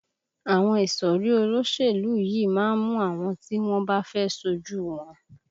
Àwọn ìsọ̀rí olóṣèlú yìí má ń mú àwọn tí wọ́n bá fẹ́ ṣojú u wọn